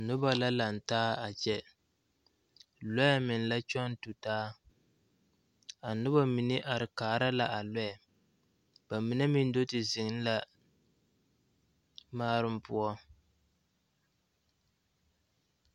Noba la laŋ taa a kyɛ lɔɛ meŋ la kyɔŋ tu taa a noba mine are kaara la a lɔɛ ba mine meŋ do te zeŋ la maaroŋ poɔ.